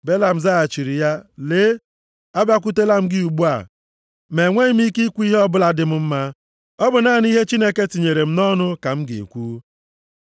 Belam zaghachiri, “Lee, Abịakwutelam gị ugbu a, ma enweghị m ike ikwu ihe ọbụla dị m mma. Ọ bụ naanị ihe Chineke tinyere m nʼọnụ ka m ga-ekwu.”